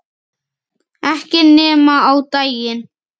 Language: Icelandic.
Ekki nema á daginn